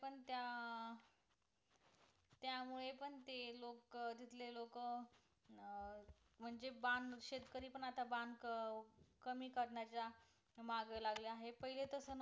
त्यामुळे पण ते लोक तिथले लोक म्हणजे बांद शेतकरी पण आता बांध कमी करण्याच्या माग लागले आहेत पहिले तस नव्हतं